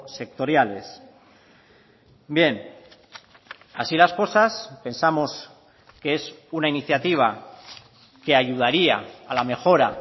sectoriales bien así las cosas pensamos que es una iniciativa que ayudaría a la mejora